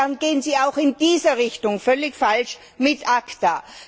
Insofern gehen Sie auch in dieser Richtung völlig falsch mit ACTA.